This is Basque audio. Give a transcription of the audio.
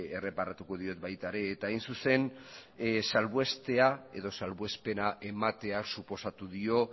erreparatuko diot baita ere eta hain zuzen salbuestea edo salbuespena ematea suposatu dio